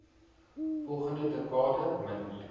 volgende dekade minder